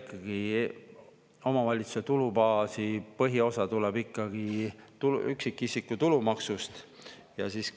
Ikkagi omavalitsuste tulubaasi põhiosa tuleb ikkagi üksikisiku tulumaksust ja siis